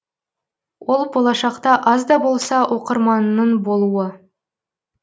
ол болашақта аз да болса оқырманыңның болуы